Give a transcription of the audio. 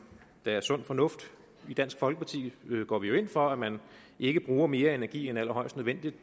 er sund fornuft i dansk folkeparti går vi jo ind for at man ikke bruger mere energi end allerhøjst nødvendigt